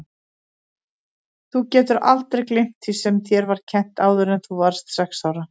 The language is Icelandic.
Þú getur aldrei gleymt því sem þér var kennt áður en þú varðst sex ára.